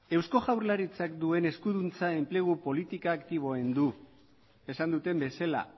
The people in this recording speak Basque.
eusko jaurlaritzak duen eskuduntza enplegu politika aktiboa egin du esan duten bezala